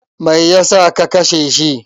Me yasa ka kashe shi?